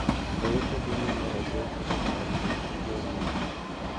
E utegi mondo oduok chien kandruok tuono